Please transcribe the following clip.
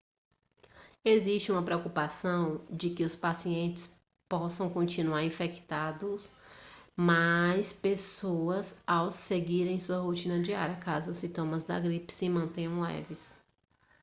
existe uma preocupação de que os pacientes possam continuar infectando mais pessoas ao seguirem sua rotina diária caso os sintomas da gripe se mantenham leves